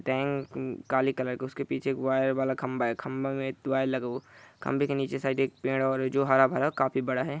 Tank काली colour का है उसके पीछे वायर वाला खम्बा है खम्बा में वायर लगा हुआ है खम्बे के निचे एक साइड पेड़ है जो हरा भरा काफी बड़ा है।